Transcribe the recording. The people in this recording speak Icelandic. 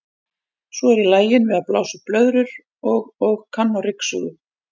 Svo er ég lagin við að blása upp blöðrur og og kann á ryksugu.